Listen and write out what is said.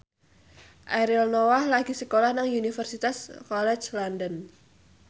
Ariel Noah lagi sekolah nang Universitas College London